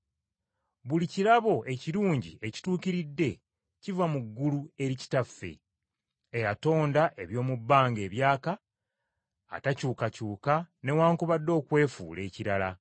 Buli kirabo ekirungi ekituukiridde, kiva mu ggulu eri Kitaffe, eyatonda eby’omu bbanga ebyaka, atakyukakyuka newaakubadde okwefuula ekirala.